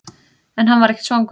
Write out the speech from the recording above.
En hann var ekki svangur.